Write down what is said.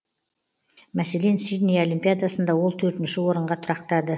мәселен сидней олимпиадасында ол төртінші орынға тұрақтады